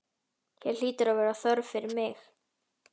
Hér hlýtur að vera þörf fyrir mig.